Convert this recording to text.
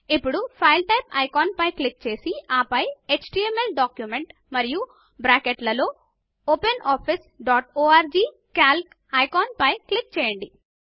ఇప్పుడు file type icon పై click చేసి ఆపై ఎచ్టీఎంఎల్ డాక్యుమెంట్ మరియు బ్రాకెట్లలో OpenOffice dot org calc icon పై క్లిక్ చేయండి